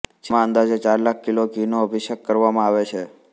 જેમાં અંદાજે ચાર લાખ કિલો ઘીનો અભિષેક કરવામાં આવે છે